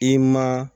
I ma